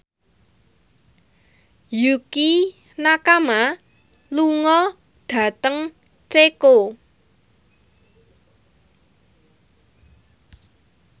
Yukie Nakama lunga dhateng Ceko